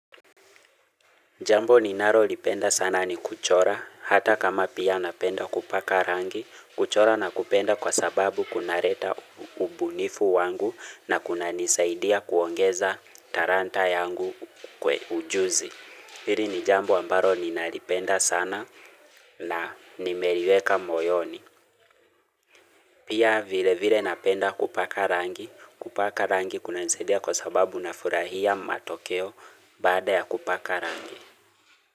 Jambo ninalolipenda sana ni kuchora, hata kama pia napenda kupaka rangi, kuchora nakupenda kwa sababu kuna leta ubunifu wangu na kuna nisaidia kuongeza talanta yangu ujuzi. Hili ni jambo ambalo ninalipenda sana na nimeliweka moyoni. Pia vile vile napenda kupaka rangi, kupaka rangi kunanisaidia kwa sababu na furahia matokeo baada ya kupaka rangi.